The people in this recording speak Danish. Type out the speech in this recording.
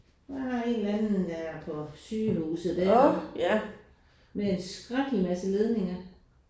Der er en eller anden der er på sygehuset der. Med en skrækkelig masse ledninger